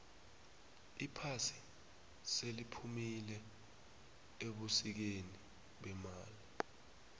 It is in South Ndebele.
iphasi seliphumile ebusikeni bemali